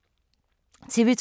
TV 2